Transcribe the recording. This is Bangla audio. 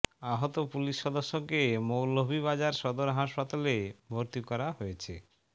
আহত পুলিশ সদস্যকে মৌলভীবাজার সদর হাসপাতালে ভর্তি করা হয়েছে